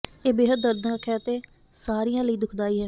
ਇਹ ਬੇਹੱਦ ਦਰਦਨਾਕ ਹੈ ਅਤੇ ਸਾਰਿਆਂ ਲਈ ਦੁਖਦਾਈ ਹੈ